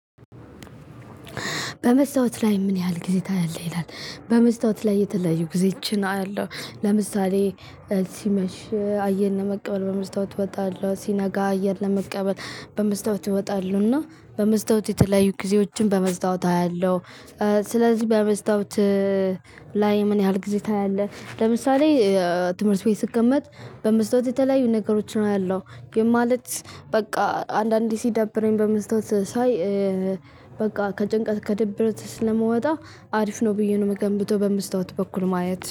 በመስታወት ላይ ምን ያህል ጊዜ ታያለህ? ይላል በመስታወት ላይ የተለዩ ጊዜችን አለው። ለምሳሌ ሲመሽ አየር ለመቀበል በመስታወት እወጣለሁ ሲነጋ አየር ለመቀበል በመስታወት እወጣለሁ። እና በመስታወት የተለያዩ ጊዜዎችን በመስታወት አያለሁ። ስለዚህ በመስታወት ላይ ምን ያህል ጊዜ ታያለህ? ለምሳሌ ትምህርት ቤት ስቀመጥ በመስታወት የተለያዩ ነገሮች አያለሁ። ይህም ማለት በቃ አንዳንዴ ሲደብረኝ በመስታወት ሳይ። በቃ ከጭንቀት ከድብርት ስለምወጣ አሪፍ ነው ብዬ ነው የምገምተው በመስታወት በኩል ማየት